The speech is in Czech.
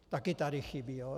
Taky tu chybí.